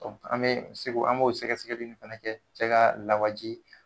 an bee se k'o an b'o sɛgɛsɛgɛli ni fɛnɛ kɛ cɛ kaa lawaji